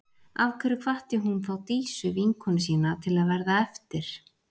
Af hverju hvatti hún þá Dísu, vinkonu sína, til að verða eftir?